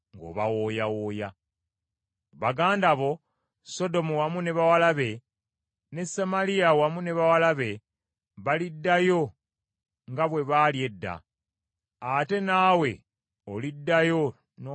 Baganda bo, Sodomu wamu ne bawala be, ne Samaliya wamu ne bawala be baliddayo nga bwe baali edda, ate naawe oliddayo n’obeera nga bwe wali edda.